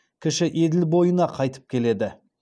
кіші еділ бойына қайтып келеді